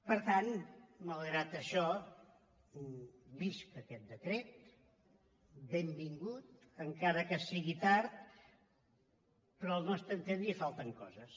per tant malgrat això visca aquest decret benvingut encara que sigui tard però al nostre entendre hi falten coses